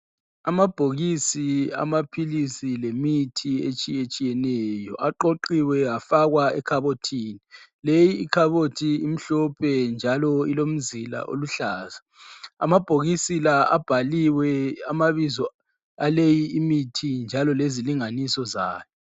Amabhokisi amaphiisi lemithi etshiye tshiyeneyo aqoqiwe afakwa ekhabothini , leyi ikhabothi imhlophe njalo ilomzila oluhlaza, amabhokisi la abhaliwe amabizo aleyi imithi njalo lezilinganiso zayo.